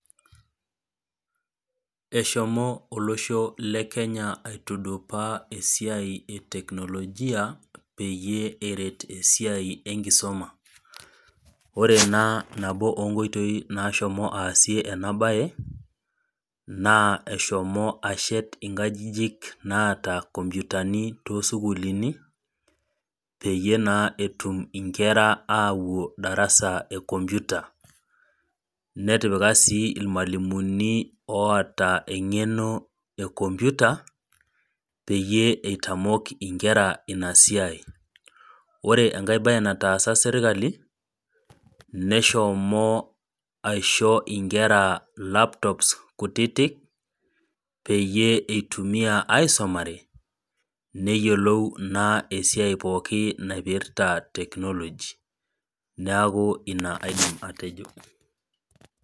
Eshomo olosho le Kenya aitudupaa esiai e teknolojia peyie eret esiai enkisomaa. Ore naa nabo oo nkoitoi naashomo aasie ena baye, naa eshomo ashet inkajijik naata kompyutani too sukulini, peyie etum naa inkera atum ashom darasa e kompyuta, netipika sii ilmwalimuni oata eng'eno e kompyuta peyie eitamok inkera ina siai. Ore enkaai baye nataasa sirkali, neshomo aisho inkera laptops kutitik, peyie eitumiya aisumare, neyolou naa esiai pooki naipirta teknolojia. Neaku ina aidim atejo.